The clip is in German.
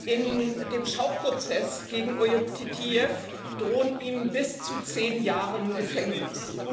In dem Schauprozess gegen Ojub Titijew drohen ihm bis zu zehn Jahre Gefängnis.